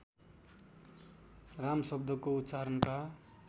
राम शब्दको उच्चारणका